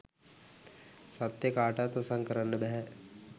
සත්‍යය කාටවත් වසන් කරන්න බැහැ